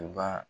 U ba